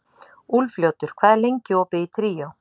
Úlfljótur, hvað er lengi opið í Tríó?